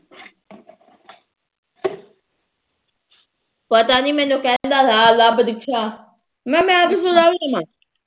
ਪਤਾ ਨੀ ਮੈਨੂੰ ਕਹਿੰਦਾ ਥਾ ਲੱਭ ਦਿਕਸ਼ਾ ਮੈ ਕਿਹਾ ਮੈ ਕਿਥੋ ਲੱਭ ਦਮਾ